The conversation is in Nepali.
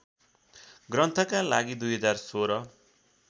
ग्रन्थका लागि २०१६